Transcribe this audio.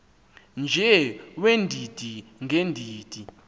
nje weendidi ngeendidi